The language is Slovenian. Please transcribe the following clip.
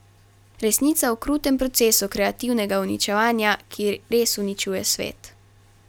Resnica o krutem procesu kreativnega uničevanja, ki res uničuje svet.